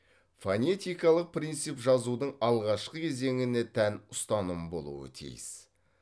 фонетикалық принцип жазудың алғашқы кезеңіне тән ұстаным болуы тиіс